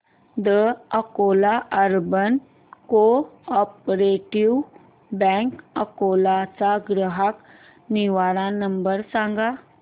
the Akola urban cooperative bank Akola चा ग्राहक निवारण नंबर सांग